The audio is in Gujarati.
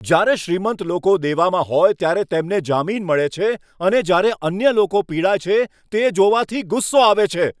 જ્યારે શ્રીમંત લોકો દેવામાં હોય ત્યારે તેમને જામીન મળે છે અને જ્યારે અન્ય લોકો પીડાય છે, તે જોવાથી ગુસ્સો આવે છે.